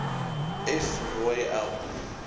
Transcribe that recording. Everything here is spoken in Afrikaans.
f rooi l